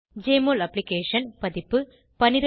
JMOL application பதிப்பு 1222